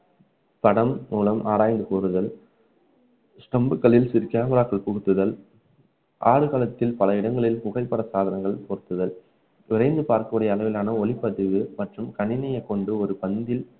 படம் மூலம் ஆராய்ந்து கூறுதல் stump களில் camera க்கள் புகுத்துதல் ஆடுகளத்தில் பல இடங்களில் புகைப்பட சாதனங்கள் பொருத்துதல் விரைந்து பார்ப்பதற்கான ஒளிப்பதிவு மற்றும் கணினியைகொண்டு ஒரு பந்தில்